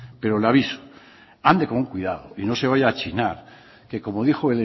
pero le aviso ande con cuidado y no se vaya a chinar que como dijo